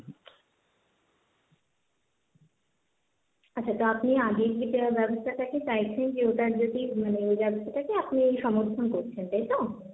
আচ্ছা তো আপনি আগে এই যেটা ব্যবস্থাটাকে চাইছেন যে ওটার যদি মানে ওই ব্যবস্থাটাকে আপনি সমর্থন করছেন তাই তো?